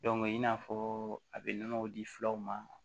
i n'a fɔ a bɛ nɔnɔ di filaw ma